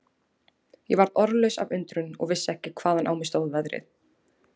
Ég varð orðlaus af undrun og vissi ekki hvaðan á mig stóð veðrið.